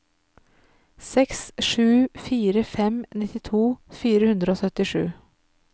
seks sju fire fem nittito fire hundre og syttisju